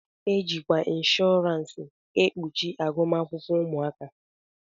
E jikwa inshọransi e kpuchi agụmakwụkwọ ụmụaka.